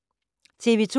TV 2